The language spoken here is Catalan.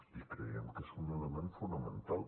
i creiem que és un element fonamental